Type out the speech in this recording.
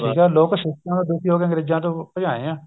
ਹਾਂ ਲੋਕ system ਤੋਂ ਦੁਖੀ ਹੋ ਕੇ ਅੰਗਰੇਜਾਂ ਤੋਂ ਭਜਾਏ ਏ